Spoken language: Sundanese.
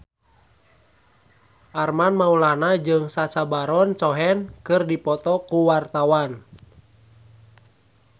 Armand Maulana jeung Sacha Baron Cohen keur dipoto ku wartawan